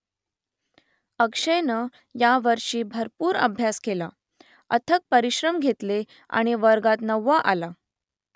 अक्षयनं यावर्षी भरपूर अभ्यास केला , अथक परिश्रम घेतले आणि वर्गात नववा आला